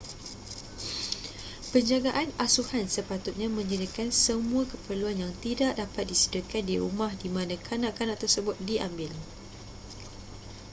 penjagaan asuhan sepatutnya menyediakan semua keperluan yang tidak dapat disediakan di rumah di mana kanak-kanak tersebut diambil